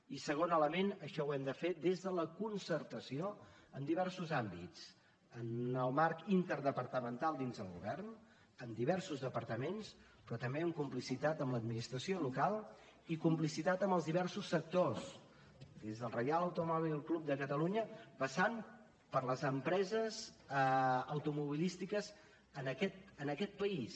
i segon element això ho hem de fer des de la concertació en diferents àmbits en el marc interdepartamental dins del govern amb diversos departaments però també en complicitat amb l’administració local i complicitat amb els diversos sectors des del reial automòbil club de catalunya passant per les empreses automobilístiques en aquest país